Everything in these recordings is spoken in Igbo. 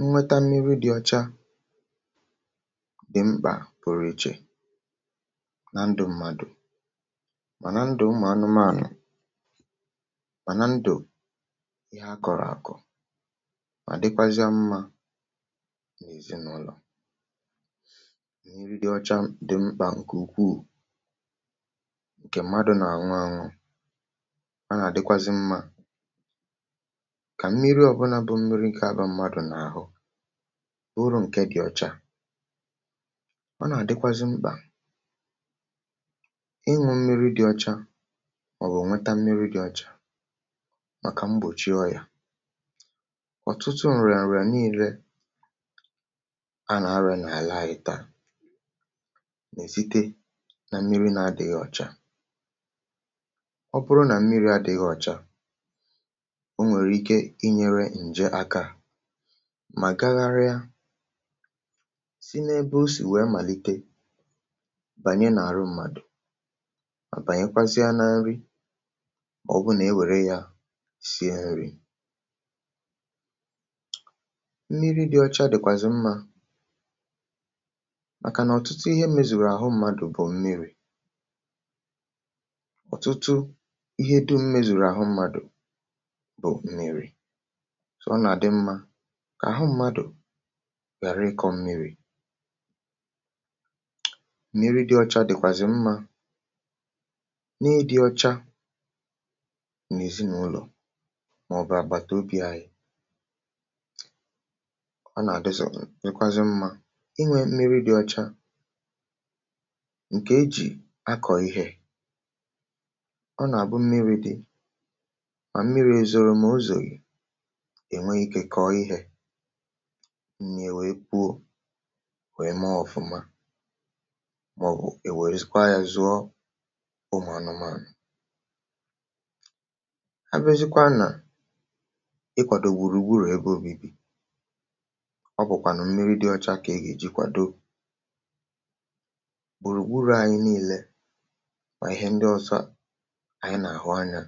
nnweta mmiri dị ọcha dị mkpà, kpuru ichè na ndụ̇ mmadụ̀, ma na ndụ̀ ụmụ̀anụmaànụ̀, ma na ndụ̀ ihe akọ̀rọ̀ àkọ̀, mà dịkwazịa mmȧ nà èzinàụlọ̀ nà iri. mmiri dị ọcha dị mkpà ǹkè ukwuù, ǹkè mmadụ̀ nà-àṅụ àṅụ, a nà-àdịkwazị mmȧ ụrụ ǹke dị̀ ọcha. ọ nà-àdịkwazị mkpà ịṅụ̇ mmiri̇ dị ọcha, um màkà mgbòchi ọ yȧ ọ̀tụtụ ǹrị̀à ǹrị̀à niile a nà-arịa n’àlà ayị̀ta è zitị na mmiri̇ na-adị̇ghị̇ ọcha. ọ bụrụ nà mmiri̇ adị̇ghị̇ ọcha mà gagharịa si n’ebe o sì wee màlite, bànye n’àrụ ụmàdò, mà bànyekwazịa na nri, mà ọbụnà e wère ya sie nri. nri dị̀ ọcha dị̀kwàzị̀ mmȧ, màkà nà ọ̀tụtụ ihe mezùrù àhụ ụmàdò bù mmiri̇. ọ̀tụtụ ihe dị̇ mmezùrù àhụ ụmàdò bù mmiri̇, gà àhụ mmadụ̀ ghàra ịkọ̇ mmiri̇. mmi̇ri̇ dị ọcha dị̀kwàzị̀ mmȧ n’ịdị̇ ọcha nà èzinàụlọ̀, màọ̀bụ̀ àgbàtàobi anyị̇. ọ nà-àdọzò n’ikwazị mmȧ inwė mmiri̇ dị ọcha ǹkè ejì akọ̀ ihė. ọ nà-àbụ mmiri̇ dị, mà mmiri̇ èzòrò m ụzọ̀, gì m nà-èwè ekuo wèe maa ọ̀fụma, um mà ọ̀ bụ̀ è wèzikwaa yȧ zụọ ụmụ̀anụmȧ à nọ̀. abụzikwa nà ikwàdò gbùrù gburù ebe ȯmìbì. ọ bụ̀kwà nà mmiri dị ọcha kà e gà-èji kwàdo gbùrù gburù ànyị nii̇lė, mà ihe ndị ọsọ ànyị nà-àhụ anyȧ,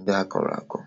ndị àkọrọ̀ àkọ̀.